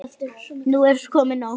Nú er komið nóg!